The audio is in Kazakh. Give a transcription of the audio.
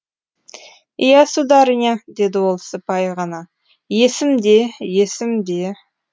иә сударыня деді ол сыпайы ғана есімде есімде